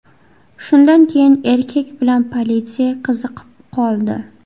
Shundan keyin erkak bilan politsiya qiziqib qoldi.